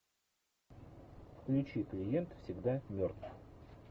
включи клиент всегда мертв